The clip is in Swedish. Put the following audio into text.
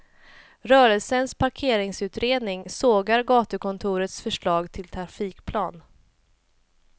Rörelsens parkeringsutredning sågar gatukontorets förslag till trafikplan.